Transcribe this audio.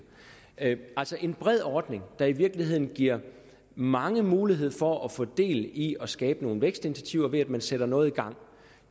af altså en bred ordning der i virkeligheden giver mange mulighed for at få del i det at skabe nogle vækstinitiativer ved at man sætter noget i gang